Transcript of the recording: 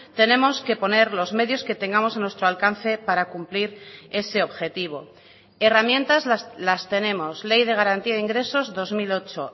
tenemos que poner los medios que tengamos a nuestro alcance para cumplir ese objetivo herramientas las tenemos ley de garantía de ingresos dos mil ocho